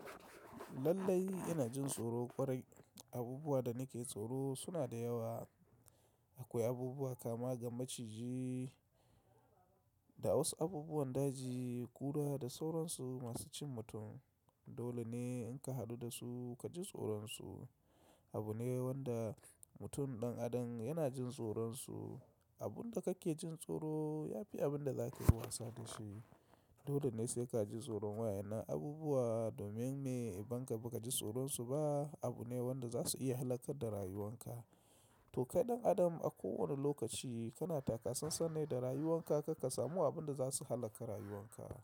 Lallai ina jin tsoro. Kwarai abubuwan da nake tsoro suna da yawa. Akwai abubuwa kama ga maciji da wasu abubuwan daji kura da sauransu masu cin mutum. Dole ne in ka hadu da su ka ji tsoron su. Abu ne wanda mutum ɗan adam yana jin tsoron su. Abun da kake jin tsoro ya fi abun da zaka yi wasa da shi. Dole ne sai ka ji tsoron wayannam abubuwa domin mai idan ka ba ka ji tsoron su ba abu ne wanda za su iya halaka da rayuwan ka. To kai ɗan adam a kowane lokaci kana takasasan ne da rayuwan ka kar ka samu abin da za su halaka rayuwan ka.